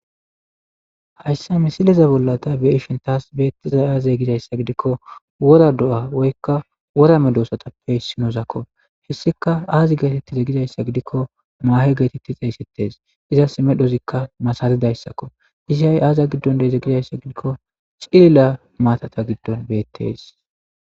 hayssa misileza bollata be7ishin tas beettizay aazee gizayssa gidikko wora do7a woykka wora medoosatappe isinozakko hessika aazi geetettize gizayssa gidikko maahe geetetti xeeysettes izas medhozikka masara dayssakko izi ha7i aaza giddon de7ize gizayssa gidikko cilila maatata giddon beettes